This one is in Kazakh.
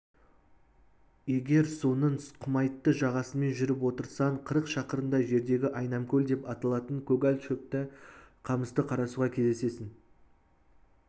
егер соның құмайтты жағасымен жүріп отырсаң қырық шақырымдай жердегі айнамкөл деп аталатын көгал шөпті қамысты қарасуға кездесесің